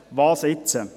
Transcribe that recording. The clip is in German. Was nun?